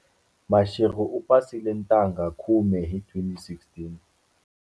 Mashego u pasile ntangha khume hi 2016.